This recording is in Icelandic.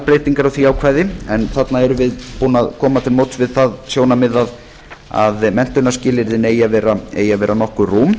breytingar á því ákvæði en þarna erum við búin að koma til móts við það sjónarmið að menntunarskilyrðin eigi að vera nokkuð rúm